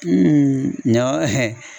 ɲɔn